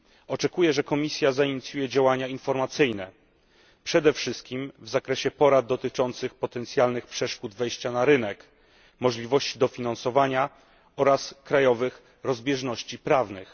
Oczekuję, że Komisja zainicjuje działania informacyjne przede wszystkim w zakresie porad dotyczących potencjalnych przeszkód w wejściu na rynek, możliwości dofinansowania oraz krajowych rozbieżności prawnych.